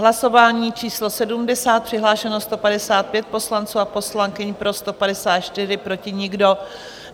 Hlasování číslo 70, přihlášeno 155 poslanců a poslankyň, pro 154, proti nikdo.